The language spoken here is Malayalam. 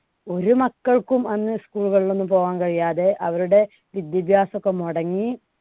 ഒരു മക്കൾക്കും അന്ന് school കളിൽ ഒന്നും പോകാൻ കഴിയാതെ, അവരുടെ വിദ്യാഭ്യാസം ഒക്കെ മൊടങ്ങി